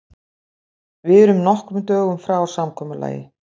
Við erum nokkrum dögum frá samkomulagi.